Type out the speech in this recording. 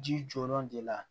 Ji jɔyɔrɔ de la